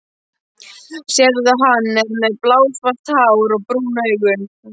Sérðu, hann er með blásvart hár og brún augu?